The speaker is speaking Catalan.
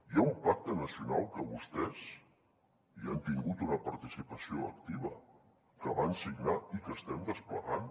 hi ha un pacte nacional que vostès hi han tingut una participació activa que van signar i que estem desplegant